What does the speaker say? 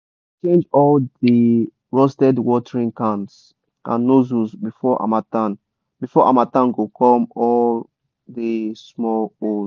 we dey change all di rusted watering cans and nozzels before harmattan before harmattan go come all di small holes.